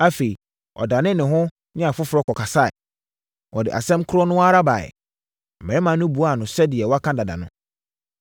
Afei, ɔdanee ne ho ne afoforɔ kɔkasaeɛ. Ɔde asɛm korɔ no ara baeɛ, na mmarima no buaa no sɛdeɛ wɔaka dada no.